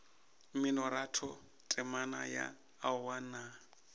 mminoratho temana ya aowa nna